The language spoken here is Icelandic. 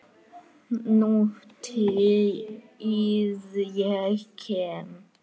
Nútíð- ég kem